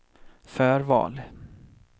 förval